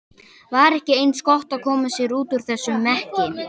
Var ekki eins gott að koma sér út úr þessum mekki?